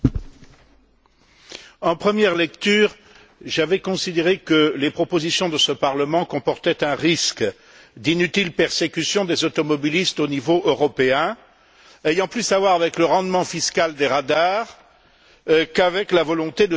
Monsieur le Président, en première lecture, j'avais considéré que les propositions de ce Parlement comportaient un risque d'inutile persécution des automobilistes au niveau européen, ayant plus à voir avec le rendement fiscal des radars qu'avec la volonté de sauver des vies.